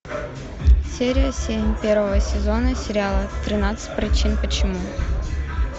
серия семь первого сезона сериала тринадцать причин почему